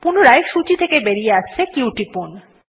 পুনরায় সূচী থেকে বাইরে আসতে q টিপুন